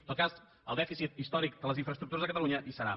en tot cas el dèficit històric de les infraestructures de cata lunya hi serà